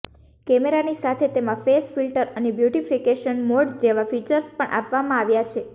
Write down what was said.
કેમેરાની સાથે તેમાં ફેસ ફિલ્ટર અને બ્યુટિફિકેશન મોડ જેવા ફીચર્સ પણ આપવામાં આવ્યા છે